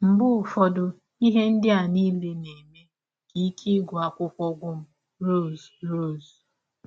Mgbe ụfọdụ, ihe ndị a niile na - eme ka ike akwụkwọ gwụ m. ” Rọse! Rọse!.